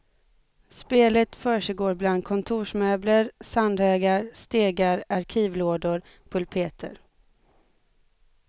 Spelet försiggår bland kontorsmöbler, sandhögar, stegar, arkivlådor, pulpeter.